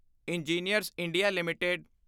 engineers India LTD